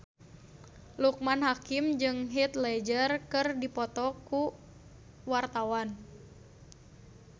Loekman Hakim jeung Heath Ledger keur dipoto ku wartawan